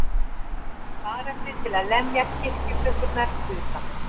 Barefli til að lemja kirkjuklukkurnar utan.